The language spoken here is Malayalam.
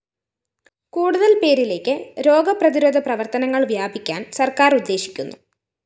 കൂടുതല്‍ പേരിലേക്ക് രോഗപ്രതിരോധ പ്രവര്‍ത്തനങ്ങള്‍ വ്യാപിക്കാന്‍ സര്‍ക്കാര്‍ ഉദ്ദേശിക്കുന്നു